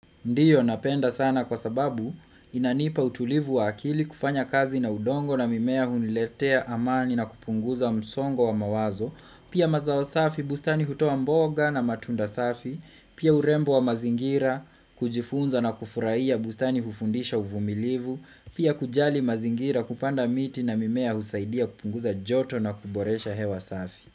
Ndio, napenda sana kwa sababu inanipa utulivu wa akili, kufanya kazi na udongo na mimea huniletea amani na kupunguza msongo wa mawazo, pia mazao safi bustani hutua mboga na matunda safi, pia urembo wa mazingira kujifunza na kufurahia bustani hufundisha uvumilivu, pia kujali mazingira kupanda miti na mimea husaidia kupunguza joto na kuboresha hewa safi.